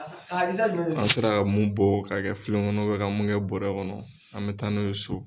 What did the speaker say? An sera mun bɔ ka kɛ filen kɔnɔ ka mun kɛ bɔɔrɛ kɔnɔ an mɛ taa n'o ye so.